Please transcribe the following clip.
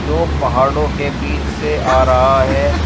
दो पहाड़ों के बीच से आ रहा है।